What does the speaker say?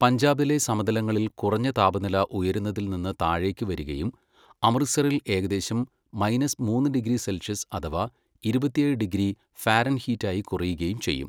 പഞ്ചാബിലെ സമതലങ്ങളിൽ കുറഞ്ഞ താപനില ഉയരുന്നതിൽ നിന്ന് താഴേക്ക് വരികയും അമൃത്സറിൽ ഏകദേശം മൈനസ് മൂന്ന് ഡിഗ്രി സെൽഷ്യസ് അഥവാ ഇരുപത്തിയേഴ് ഡിഗ്രി ഫാരൻഹീറ്റ് ആയി കുറയുകയും ചെയ്യും.